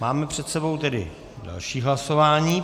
Máme před sebou tedy další hlasování.